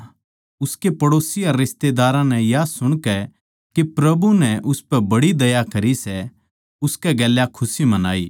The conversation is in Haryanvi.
उसके पड़ोसी अर रिश्तेदारां नै या सुणकै के प्रभु नै उसपै बड़ी दया करी सै उसकै गेल्या खुशी मनाई